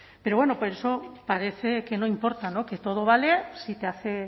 pero bueno eso parece que no importa que todo vale si te hace